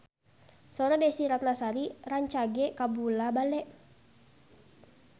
Sora Desy Ratnasari rancage kabula-bale